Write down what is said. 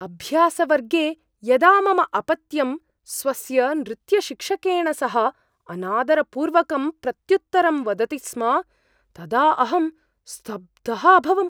अभ्यासवर्गे यदा मम अपत्यं स्वस्य नृत्यशिक्षकेन सह अनादरपूर्वकं प्रत्युत्तरं वदति स्म तदा अहं स्तब्धः अभवम्।